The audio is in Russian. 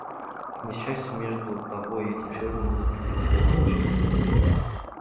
к несчастью между тобой и этим человеком будут проходить гамма-лучи